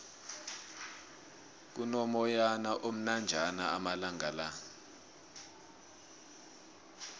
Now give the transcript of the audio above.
kuno moyana omnanjana amalangala